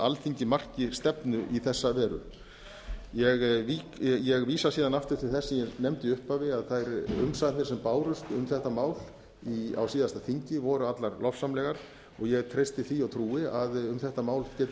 alþingi marki stefnu í þessa veru ég vísa síðan aftur til þess sem ég nefndi í upphafi að þær umsagnir sem bárust um þetta mál á síðasta þingi voru allar lofsamlegar og ég treysti því og trúi að um þetta mál geti þess